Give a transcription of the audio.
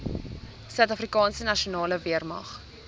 suidafrikaanse nasionale weermag